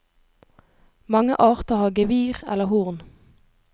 Mange arter har gevir eller horn.